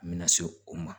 An bɛna se o ma